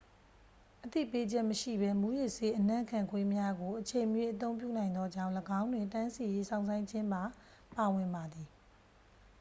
အသိပေးချက်မရှိဘဲ မူးယစ်ဆေး အနံ့ခံခွေးများကို အချိန်မရွေး အသုံးပြုနိုင်သောကြောင့် ၎င်းတွင် တန်းစီ၍ စောင့်ဆိုင်းခြင်းပါ ပါဝင်ပါသည်